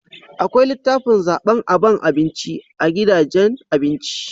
Akwai litafin zaban aban abinci a gidajen abinci